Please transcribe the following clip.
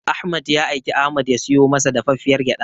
Ahmad ya aiki Ahmad ya siyo masa dafaffiyar gyaɗa.